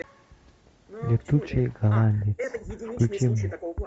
летучий голландец включи мне